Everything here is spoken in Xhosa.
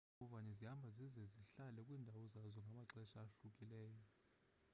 iimbovane zihamba zize zihlale kwiindawo zazo ngamaxesha ahlukileyo i